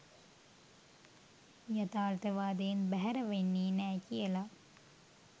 යථාර්ථවාදයෙන් බැහැර වෙන්නේ නෑ කියලා.